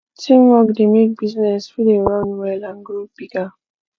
teamwork de make business fit de run well and grow bigger